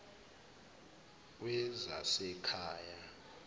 wezasekhaya